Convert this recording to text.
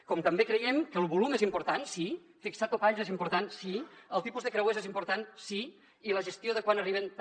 com també creiem que el volum és important sí fixar topalls és important sí el tipus de creuers és important sí i la gestió de quan arriben també